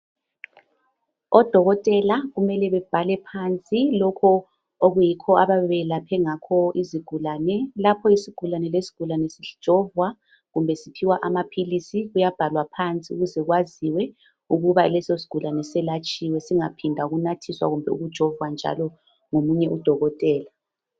Odokotela kumele bebhale phansi ilokho okuyikho abayabe belaphe ngakho izigulane lapho isigulane lesigulane sijovwa kumbe siphiwa amaphilisi kuyabhalwa phansi ukuze kwaziwe ukuba leso sigulane selatshiwe singaphindwa ukunathiswa kumbe ukujovwa njalo ngomunye udokotela.